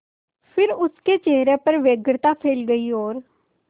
फिर उसके चेहरे पर व्यग्रता फैल गई और